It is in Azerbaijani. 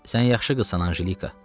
Sən yaxşı qızsan Anjelika.